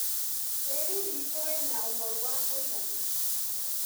Tĩri witũ wĩna ũnoru wa kũigana.